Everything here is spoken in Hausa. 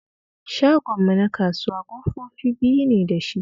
Shagonmu na kasuwa ƙofofi biyu ne da shi